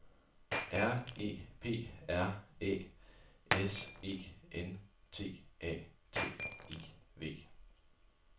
R E P R Æ S E N T A T I V